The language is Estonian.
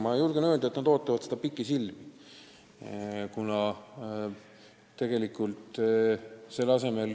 Ma julgen öelda, et nad ootavad seda pikisilmi.